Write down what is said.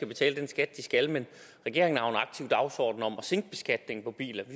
betaler den skat de skal men regeringen har aktiv dagsorden om at sænke beskatningen på biler vi